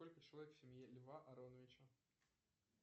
сколько человек в семье льва ароновича